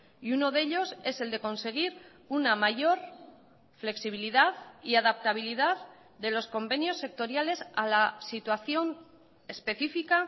y uno de ellos es el de conseguir una mayor flexibilidad y adaptabilidad de los convenios sectoriales a la situación específica